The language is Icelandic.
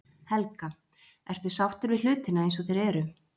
Helga: Ertu sáttur við hlutina eins og þeir eru?